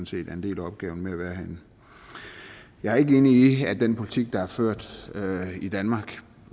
set er en del af opgaven med at være herinde jeg er ikke enig i at den politik der er ført i danmark